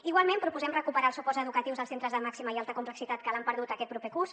igualment proposem recuperar els suports educatius als centres de màxima i alta complexitat que l’han perdut aquest proper curs